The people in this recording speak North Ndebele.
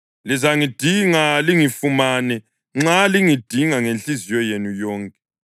Lizangidinga lingifumane nxa lingidinga ngenhliziyo yenu yonke.